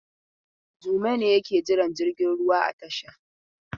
Jume ne yake jiran jirgin ruwa a tasha.